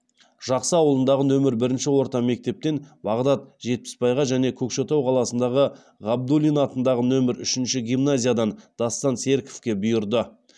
жақсы ауылындағы нөмір бірінші орта мектептен бағдат жетпіспайға және көкшетау қаласындағы ғабдуллин атындағы нөмір үшінші гимназиядан дастан серіковке бұйырды